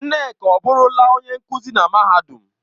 Nneka ọ burula onye nkuzi na mahadum?